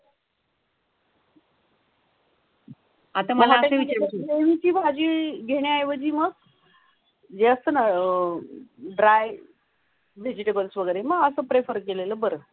घेण्याऐवजी मग. जे असताना अह ड्राई वेजिटेबलस वगैरे मग तसं प्रिफर केलेलं बरं.